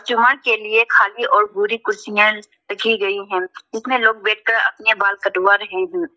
के लिए खाली और भूरी कुर्सियां रखी गई हैं जिसमें लोग बैठकर अपने बाल कटवा रहे हैं।